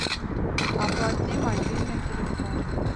оплати мобильный телефон